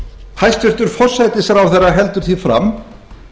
hæstvirtur forsætisráðherra heldur því fram